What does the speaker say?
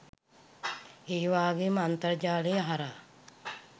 ඒවාගේම අන්තර්ජාලය හරහා